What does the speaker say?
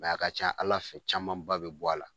a ka ca Ala fɛ camanba bɛ bɔ a la.